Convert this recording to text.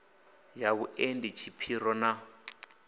ya vhuendi ha tshipiro na